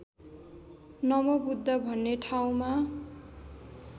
नमोबुद्ध भन्ने ठाउँमा